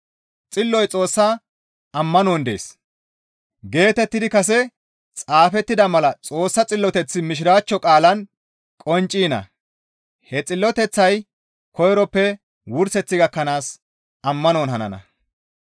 «Xilloy Xoossa ammanon dees» geetettidi kase xaafettida mala Xoossa xilloteththi mishiraachcho qaalan qoncciina; he xilloteththay koyroppe wurseth gakkanaas ammanon hanana.